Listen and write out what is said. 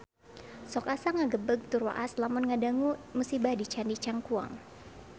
Sok asa ngagebeg tur waas lamun ngadangu musibah di Candi Cangkuang